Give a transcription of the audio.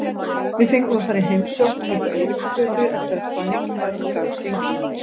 Við fengum að fara í heimsókn uppá Eiríksgötu eftir að fæðingin var um garð gengin.